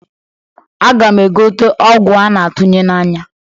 Aga m egote ọgwụ a na-atụnya n'anya.